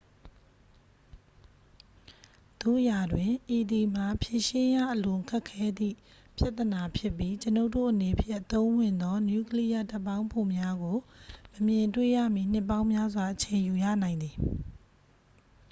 သို့ရာတွင် ဤသည်မှာ ဖြေရှင်းရအလွန်ခက်ခဲသည့် ပြဿနာဖြစ်ပြီး ကျွန်ုပ်တို့အနေဖြင့် အသုံးဝင်သော နျူကလီးယားဓာတ်ပေါင်းဖိုများကို မမြင်တွေ့ရမီ နှစ်ပေါင်းများစွာ အချိန်ယူရနိုင်သည်